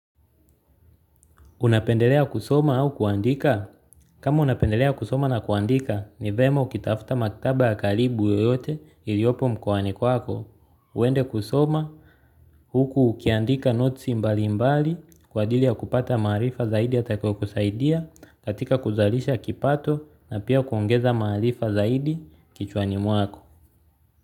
Unapendelea kusoma au kuandika? Kama unapendelea kusoma na kuandika, ni vyema ukitafta maktaba ya karibu yoyote iliopo mkoani kwako. Uende kusoma, huku ukiandika notes mbali mbali, kwa ajili ya kupata maarifa zaidi yatakayo kusaidia, katika kuzalisha kipato na pia kuongeza marifa zaidi kichwani mwako.